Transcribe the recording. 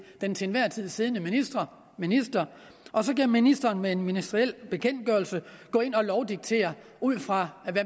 den til enhver tid siddende minister minister og så kan ministeren med en ministeriel bekendtgørelse gå ind og lovdiktere ud fra